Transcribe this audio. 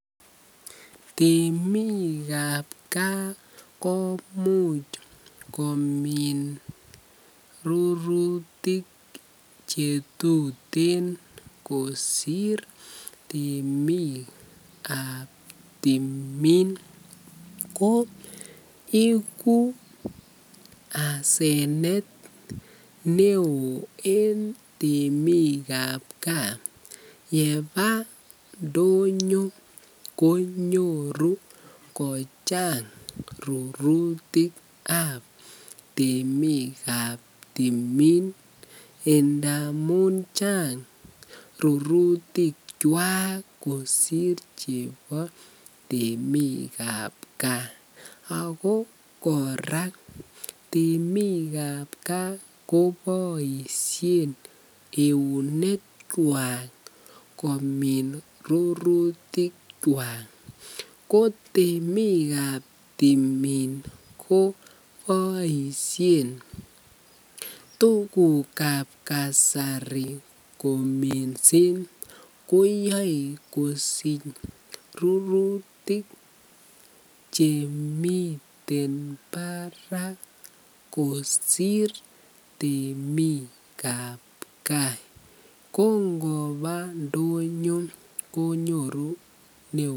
Temiikab kaa komuch komin rurutik chetuten kosir temikab timin, ko ikuu asenet neo en temikab kaa yebaa ndonyo konyoru kochang rurutikab temiikab timin ndamun chang rurutikwak kosir chebo temiikab kaa ak ko kora temikab kaa koboishen eunekwak komin rurutikwak, ko temiikab timin koboishen tukukab kasari kominsen koyoe kosich rurutik chemiten barak kosir temikab kaa, ko ngoba ndonyo konyoru neoo.